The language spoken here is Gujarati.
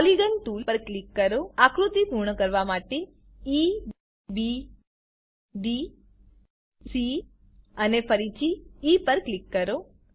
પોલિગોન ટૂલ પર ક્લિક કરો આકૃતિ પૂર્ણ કરવા માટે point E B D C અને ફરીથી ઇ પર ક્લિક કરો